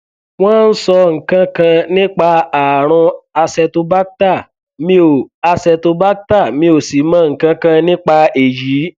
wọn sọ nǹkan kan nípa ààrùn acetobacter mi ò acetobacter mi ò sì mọ nǹkan kan nípa èyí